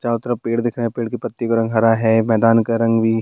चारों तरफ पेड़ दिख रहे हैं पेड़ के पत्तियों का रंग हरा है मैदान का रंग भी --